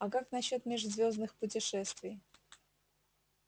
а как насчёт межзвёздных путешествий